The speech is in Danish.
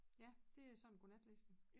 Ja det er sådan godnatlæsning